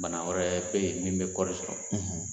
Bana wɛrɛ bɛ yen min bɛ kɔɔri sɔrɔ